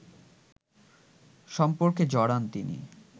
সম্পর্কে জড়ান তিনি